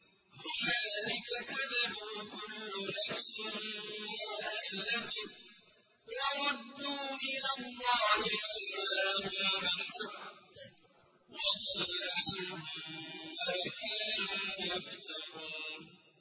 هُنَالِكَ تَبْلُو كُلُّ نَفْسٍ مَّا أَسْلَفَتْ ۚ وَرُدُّوا إِلَى اللَّهِ مَوْلَاهُمُ الْحَقِّ ۖ وَضَلَّ عَنْهُم مَّا كَانُوا يَفْتَرُونَ